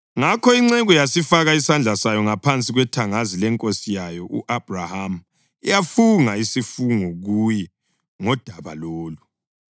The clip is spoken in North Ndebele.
Ngakho inceku yasifaka isandla sayo ngaphansi kwethangazi lenkosi yayo u-Abhrahama yafunga isifungo kuye ngodaba lolu.